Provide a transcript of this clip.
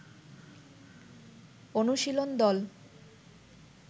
অনুশীলন দল